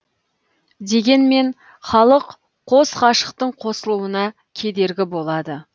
дегенмен халық қос ғашықтың қосылуына кедергі болады